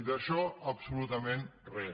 i d’això absolutament res